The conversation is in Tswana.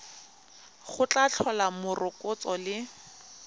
go tla tlhola morokotso le